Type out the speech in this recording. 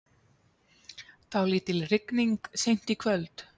Dálítil rigning seint í kvöld